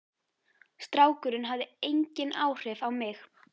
Strákurinn hafði engin áhrif á mig.